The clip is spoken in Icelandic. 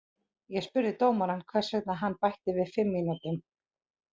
Ég spurði dómarann hvers vegna hann bætti við fimm mínútum.